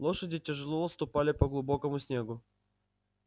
лошади тяжело ступали по глубокому снегу